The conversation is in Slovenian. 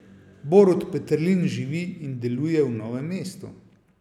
Borut Peterlin živi in deluje v Novem mestu.